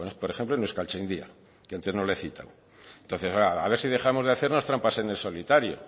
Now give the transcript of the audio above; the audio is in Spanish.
por ejemplo en euskaltzaindia que antes no lo he citado a ver si dejamos de hacernos trampas en el solitario